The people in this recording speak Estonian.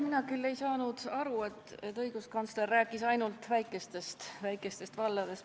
Mina küll ei saanud aru, et õiguskantsler oleks rääkinud ainult väikestest valdadest.